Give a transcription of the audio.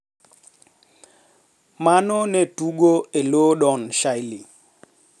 Ma ne tugo e lo Don Shirley,